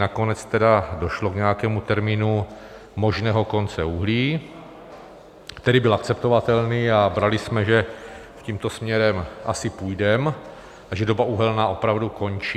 Nakonec tedy došlo k nějakému termínu možného konce uhlí, který byl akceptovatelný, a brali jsme, že tímto směrem asi půjdeme a že doba uhelná opravdu končí.